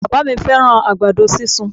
Bàbá à mí fẹ́ràn àgbàdo sísun